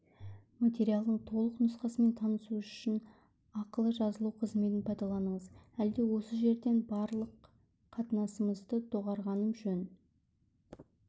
материалдардың толық нұсқасымен танысу үшін ақылы жазылу қызметін пайдаланыңыз әлде осы жерден барлық қатынасымызды доғарғаным жөн